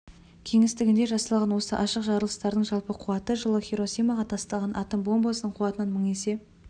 кеңістігінде жасалған осы ашық жарылыстардың жалпы қуаты жылы хиросимаға тасталған атом бомбасының қуатынан мың есе